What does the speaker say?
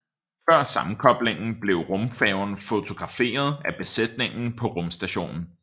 Før sammenkoblingen blev rumfærgen fotograferet af besætningen på rumstationen